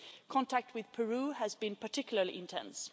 Contact with Peru has been particularly intense.